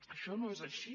això no és així